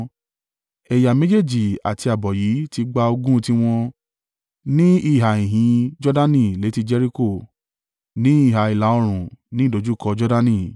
Ẹ̀yà méjèèjì àti ààbọ̀ yìí ti gba ogún tiwọn ní ìhà ìhín Jordani létí i Jeriko, ní ìhà ìlà-oòrùn, ní ìdojúkọ Jordani.”